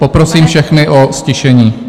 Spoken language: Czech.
Poprosím všechny o ztišení.